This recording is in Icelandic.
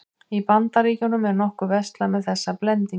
Í Bandaríkjunum er nokkuð verslað með þessa blendinga.